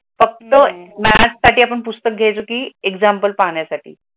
फक्त मय्याट्स साडी आपण पुस्तक गयायेच की एक्झॅम्पल पाहाण्या साडी.